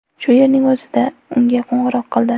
Shu yerning o‘zida unga qo‘ng‘iroq qildi.